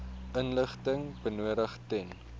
inligting benodig ten